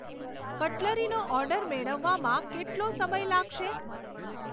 કટલરીનો order મેળવવામાં કેટલો સમય લાગશે?